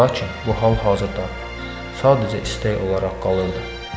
Lakin bu hal hazırda sadəcə istək olaraq qalırdı.